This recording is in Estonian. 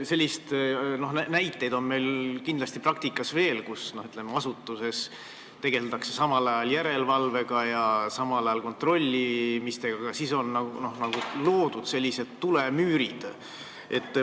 Selliseid näiteid on kindlasti praktikas veel olnud, et asutuses tegeldakse samal ajal järelevalve ja kontrollimisega, aga siis on loodud tulemüürid.